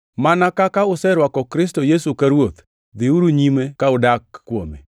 Mana kaka userwako Kristo Yesu ka Ruoth, dhiuru nyime ka udak kuome,